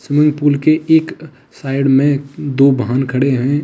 Swimming pool के एक side में दो वाहन खड़े हैं।